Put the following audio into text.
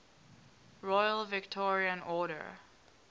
royal victorian order